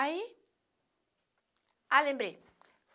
Aí... Ah, lembrei.